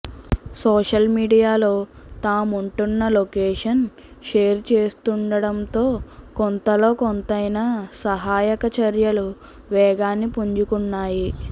social మీడియాలో తాముంటున్న location share చేస్తుండటంతో కొంతలో కొంతైనా సహాయక చర్యలు వేగాన్ని పుంజుకున్నాయి